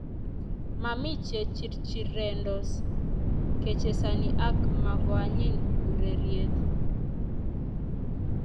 mami che chirchirendos kechesani ak makoanyiy ureriet